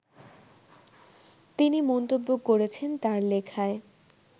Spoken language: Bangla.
তিনি মন্তব্য করেছেন তার লেখায়